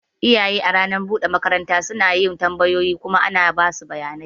Iyaye a lokacin ranar buɗe makaranta suna yin tambayoyi kuma ana basu bayanai.